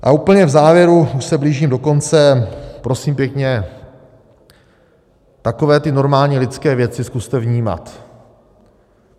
A úplně v závěru - už se blížím do konce - prosím pěkně takové ty normální lidské věci zkuste vnímat.